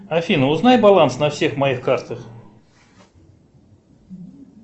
афина узнай баланс на всех моих картах